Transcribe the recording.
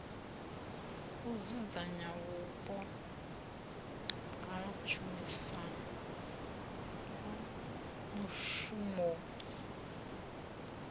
u dzudzanya vhupo ha mushumoni